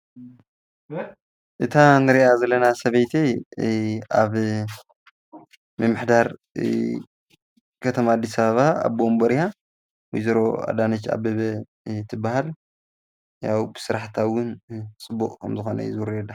እታ ንሪኣ ዘለና ሰበይቲ ኣብ ምምሕዳር ከተማ ኣዲስ ኣበባ ኣቦ ወንበር እያ። ወይዘሮ ኣዳነች ኣበበ ትበሃል። ስራሕታ እዉን ፅቡቅ ከምዝኮነ እዩ ዝውረየላ ።